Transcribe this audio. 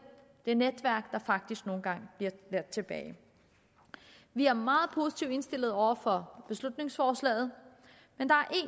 det netværk der faktisk nogle gange bliver ladt tilbage vi er meget positivt indstillet over for beslutningsforslaget men der er